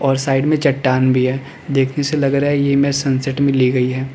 और साइड में चट्टान भी है देखने से लग रहा है ये इमेज सनसेट में ली गई है।